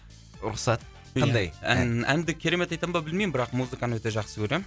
рұқсат қандай ән ән әнді керемет айтам ба білмеймін бірақ музыканы өте жақсы көремін